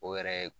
O yɛrɛ ye